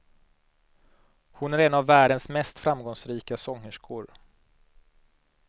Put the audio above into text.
Hon är en av världens mest framgångsrika sångerskor.